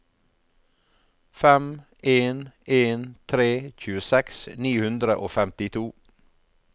fem en en tre tjueseks ni hundre og femtito